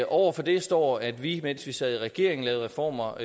over for det står at vi mens vi sad i regering lavede reformer